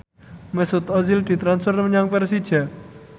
Mesut Ozil ditransfer menyang Persija